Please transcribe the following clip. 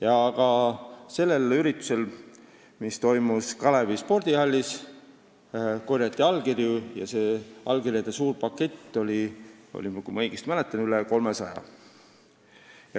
Ja ka sellel üritusel, mis toimus Kalevi spordihallis, korjati allkirju ja kui ma õigesti mäletan, siis saadi neid kokku veidi üle 300.